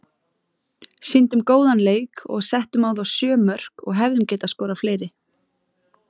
Sýndum góðan leik og settum á þá sjö mörk og hefðum getað skorað fleiri.